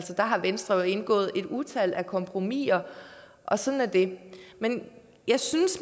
der har venstre jo indgået et utal af kompromisser sådan er det men jeg synes